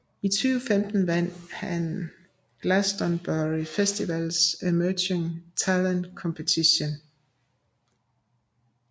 I 2015 vandt han Glastonbury Festivals Emerging Talent Competition